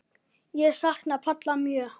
Ég sakna Palla mjög.